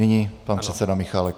Nyní pan předseda Michálek.